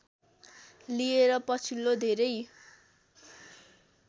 लिएर पछिल्लो धेरै